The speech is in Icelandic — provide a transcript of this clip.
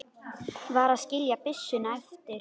Varð að skilja byssuna eftir.